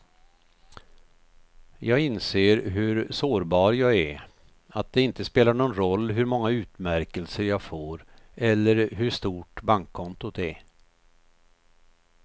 Jag inser hur sårbar jag är, att det inte spelar någon roll hur många utmärkelser jag får eller hur stort bankkontot är.